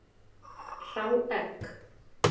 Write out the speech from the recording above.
Hrá egg.